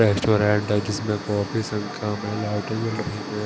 Restaurant है जिसमें काफी संख्या में लाइट जल रही है।